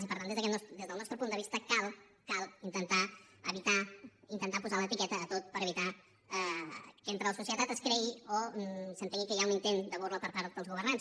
i per tant des del nostre punt de vista cal intentar evitar posar l’etiqueta a tot per evitar que entre la societat es cregui o s’entengui que hi ha un intent de burla per part dels governants